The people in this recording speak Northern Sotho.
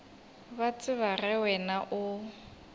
ba tseba ge wena o